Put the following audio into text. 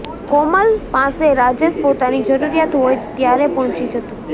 કોમલ પાસે રાજેશ પોતાની જરૂરિયાત હોય ત્યારે પહોંચી જતો